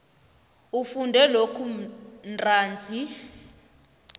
ufunde lokhu ntanzi